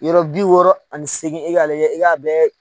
Yɔrɔ bi wɔɔrɔ ani seagin e k'a lajɛ e k'a bɛɛ